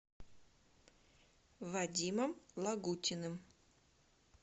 вадимом лагутиным